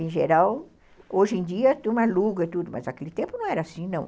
Em geral, hoje em dia tu aluga e tudo, mas naquele tempo não era assim, não.